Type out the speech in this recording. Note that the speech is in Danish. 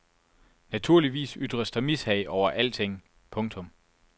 Naturligvis ytres der mishag over alting. punktum